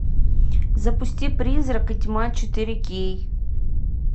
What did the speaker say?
запусти призрак и тьма четыре кей